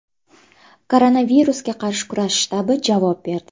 Koronavirusga qarshi kurash shtabi javob berdi.